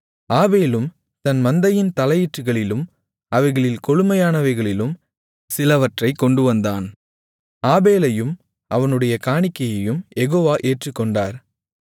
ஆபேலும் தன் மந்தையின் தலையீற்றுகளிலும் அவைகளின் கொழுமையானவைகளிலும் சிலவற்றைக் கொண்டுவந்தான் ஆபேலையும் அவனுடைய காணிக்கையையும் யெகோவா ஏற்றுக்கொண்டார்